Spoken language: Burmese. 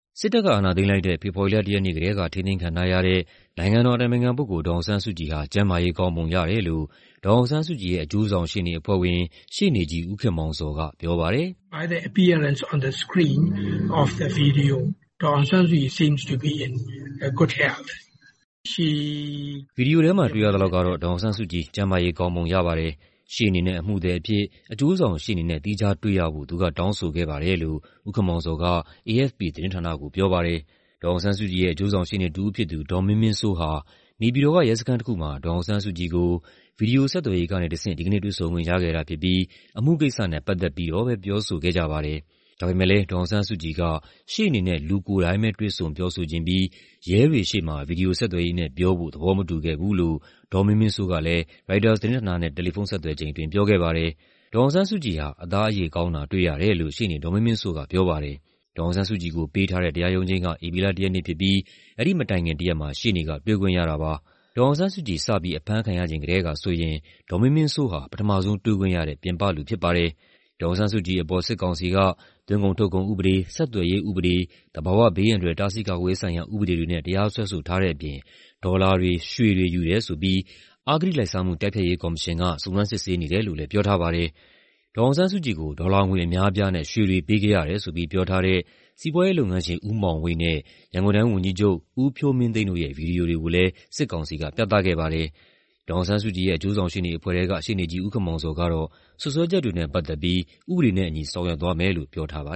စစ်တပ်က အာဏာသိမ်းလိုက်တဲ့ ဖေဖော်ဝါရီလ ၁ ရက်နေ့ကတည်းက ထိန်းသိမ်းခံထားရတဲ့ နိုင်ငံတော်အတိုင်ပင်ခံပုဂ္ဂိုလ် ဒေါ်အောင်ဆန်းစုကြည်ဟာ ကျန်းမာရေးကောင်းပုံရတယ်လို့ ဒေါ်အောင်ဆန်းစုကြည်ရဲ့ အကျိုးဆောင်ရှေ့နေအဖွဲ့ဝင် ရှေ့နေကြီး ဦးခင်မောင်ဇော်ကပြောပါတယ်။ "ဗွီဒီယိုထဲမှာတွေ့ရသလောက်ကတော့ ဒေါ်အောင်ဆန်းစုကြည် ကျန်းမာရေးကောင်းပုံရပါတယ်။ ရှေ့နေနဲ့ အမှုသည်အဖြစ် အကျိုးဆောင်ရှေ့နေနဲ့ သီးခြားတွေ့ရဖို့ သူကတောင်းဆိုခဲ့ပါတယ်" လို့ ဦးခင်မောင်ဇော်က AFP သတင်းဌာနကို ပြောပါတယ်။ ဒေါ်အောင်ဆန်းစုကြည်ရဲ့ အကျိုးဆောင်ရှေ့နေတစ်ဦးဖြစ်သူ ဒေါ်မင်းမင်းစိုးဟာ နေပြည်တော်က ရဲစခန်းတစ်ခုမှာ ဒေါ်အောင်ဆန်းစုကြည်ကို ဗွီဒီယိုဆက်သွယ်ရေးကနေတဆင့် ဒီကနေ့ တွေ့ဆုံခွင့်ရခဲ့တာဖြစ်ပြီး အမှုကိစ္စနဲ့ပတ်သက်ပြီးတော့ပဲ ပြောဆိုခဲ့ကြပါတယ်။ ဒါပေမယ့်လည်း ဒေါ်အောင်ဆန်းစုကြည်က ရှေ့နေနဲ့ လူကိုယ်တိုင်ပဲ တွေ့ဆုံပြောဆိုချင်ပြီး ရဲတွေရှေ့မှာ ဗွီဒီယိုဆက်သွယ်ရေးနဲ့ပြောဖို့ သဘောမတူခဲ့ဘူးလို့ ဒေါ်မင်းမင်းစိုးကလည်း ရိုက်တာသတင်းဌာနနဲ့ တယ်လီဖုန်းဆက်သွယ်ချိန်အတွင်း ပြောခဲ့ပါတယ်။ ဒေါ်အောင်ဆန်းစုကြည်ဟာ "အသားအရေ ကောင်းတာတွေ့ရတယ်" လို့ ရှေ့နေဒေါ်မင်းမင်းစိုးကပြောပါတယ်။ ဒေါ်အောင်ဆန်းစုကြည်ကိုပေးထားတဲ့ တရားရုံးချိန်းက ဧပြီလ ၁ ရက်နေ့ဖြစ်ပြီး အဲဒီမတိုင်ခင်တရက်မှာ ရှေ့နေက တွေ့ခွင့်ရတာပါ။ ဒေါ်အောင်ဆန်းစုကြည် စပြီး အဖမ်းခံရချိန်ကတည်းကဆိုရင် ဒေါ်မင်းမင်းစိုးဟာ ပထမဆုံးတွေ့ခွင့်ရတဲ့ ပြင်ပလူဖြစ်ပါတယ်။ ဒေါ်အောင်ဆန်းစုကြည်အပေါ် စစ်ကောင်စီက သွင်းကုန်ထုတ်ကုန်ဥပဒေ၊ ဆက်သွယ်ရေးဥပဒေ၊ သဘာဝဘေးအန္တရာယ် တားဆီးကာကွယ်ရေးဆိုင်ရာဥပဒေတွေနဲ့ တရားစွဲဆိုထားတဲ့အပြင် ဒေါ်လာတွေ၊ ရွှေတွေယူတယ်ဆိုပြီး အဂတိလိုက်စားမှု တိုက်ဖျက်ရေးကော်မရှင်က စုံစမ်းစစ်ဆေးနေတယ်လို့လည်း ပြောထားပါတယ်။ ဒေါ်အောင်ဆန်းစုကြည်ကို ဒေါ်လာငွေအများအပြားနဲ့ ရွှေတွေပေးခဲ့ရတယ်ဆိုပြီး ပြောထားတဲ့ စီးပွားရေးလုပ်ငန်းရှင် ဦးမောင်ဝိတ်နဲ့ ရန်ကုန်တိုင်းဝန်ကြီးချုပ် ဦးဖြိုးမင်းသိန်းတို့ရဲ့ ဗွီဒီယိုတွေကိုလည်း စစ်ကောင်စီက ပြသခဲ့ပါတယ်။ ဒေါ်အောင်ဆန်းစုကြည်ရဲ့ အကျိုးဆောင်ရှေ့နေအဖွဲ့ထဲက ရှေ့နေကြီး ဦးခင်မောင်ဇော်ကတော့ စွပ်စွဲချက်တွေနဲ့ပတ်သက်ပြီး ဥပဒေနဲ့အညီ ဆောင်ရွက်သွားမယ်လို့ ပြောထားပါ